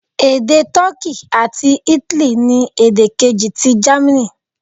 Èdè Toki àti Italy ni èdè kejì ti Germany.